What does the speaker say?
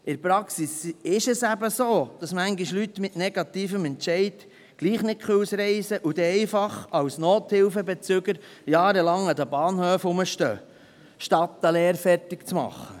In der Praxis ist es so, dass Leute mit negativem Entscheid manchmal trotzdem nicht ausreisen können und dann als Nothilfebezüger einfach jahrelang an den Bahnhöfen herumstehen, anstatt eine Lehre fertig zu machen.